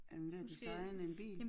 Er han ved at designe en bil?